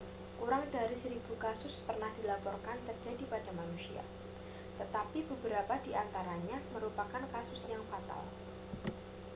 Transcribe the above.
kurang dari seribu kasus pernah dilaporkan terjadi pada manusia tetapi beberapa di antaranya merupakan kasus yang fatal